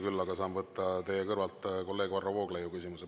Küll aga saan selle võimaluse anda teie kõrval istuvale kolleegile Varro Vooglaiule.